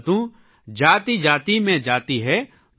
जाति जाति में जाति है